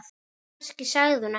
Eða kannski sagði hún ekkert.